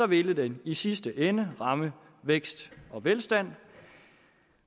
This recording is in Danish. ville den i sidste ende ramme vækst og velstand